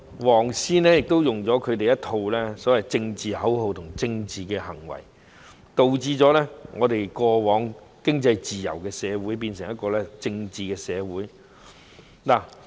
"黃絲"使用他們一套所謂的政治口號和政治行為，導致過往經濟自由的社會，變成一個政治的社會。